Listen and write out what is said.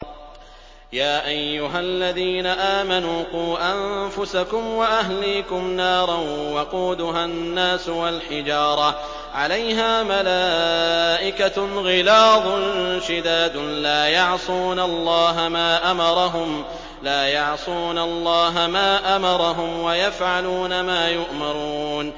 يَا أَيُّهَا الَّذِينَ آمَنُوا قُوا أَنفُسَكُمْ وَأَهْلِيكُمْ نَارًا وَقُودُهَا النَّاسُ وَالْحِجَارَةُ عَلَيْهَا مَلَائِكَةٌ غِلَاظٌ شِدَادٌ لَّا يَعْصُونَ اللَّهَ مَا أَمَرَهُمْ وَيَفْعَلُونَ مَا يُؤْمَرُونَ